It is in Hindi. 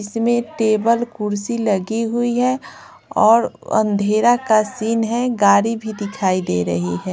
इसमें टेबल कुर्सी लगी हुई है और अंधेरा का सीन है गाड़ी भी दिखाई दे रही है।